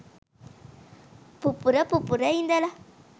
පුපුර පුපුර ඉඳල